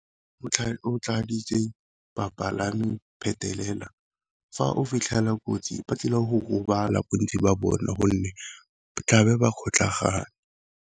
Tladitse bapalami phetelela fa o fitlhela kotsi ba tlile go gobala bontsi ba bone, gonne tlabe ba kgotlhagane.